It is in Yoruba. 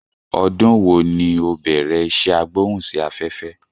Ọdún wòó ni o bẹ̀rẹ̀ isé agbóhùn sí afẹ́fẹ́?